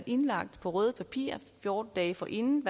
indlagt på røde papirer fjorten dage forinden